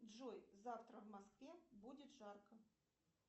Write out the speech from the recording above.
джой завтра в москве будет жарко